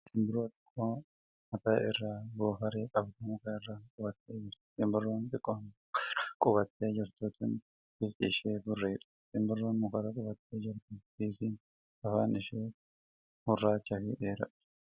Simbirroo xiqqoo mataa irraa goofaree qabdu muka irra qubattee jirti. Simbirroo xiqqoon muka irra qubattee jirtu tun bifti ishee burreedha. Simbirroon mukarra qubattee jirtu biikiin afaan ishee gurraacha fi dheeraadha.